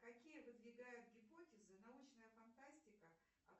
какие выдвигает гипотезы научная фантастика